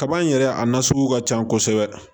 Kaba in yɛrɛ a na sugu ka can kosɛbɛ